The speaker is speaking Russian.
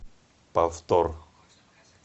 повтор